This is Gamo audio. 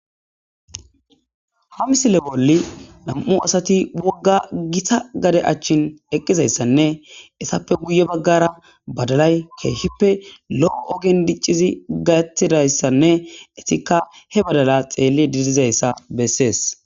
Ha misile bolli nam7u asati wogga gita gade achchin eqqizayssanne essappe guye baggara badalay keeshippe lo7o ogen diccizi gayattidayssanne etikka he badala xeelli didizayssa bessees